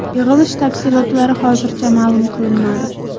Yig‘ilish tafsilotlari hozircha ma’lum qilinmadi.